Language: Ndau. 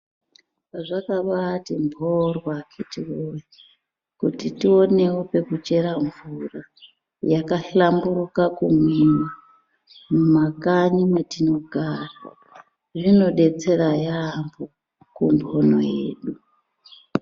Zvakabati mborwo akiti woye kuti tionewo pekuchera mvura yakahlamburuka kumwiwa, mumakanyi mwetinogara. Zvinodetsera yambo kumbuno yedu.